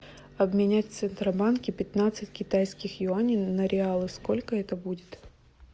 обменять в центробанке пятнадцать китайских юаней на реалы сколько это будет